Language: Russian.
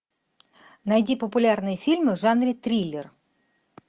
найди популярные фильмы в жанре триллер